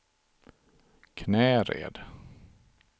Knäred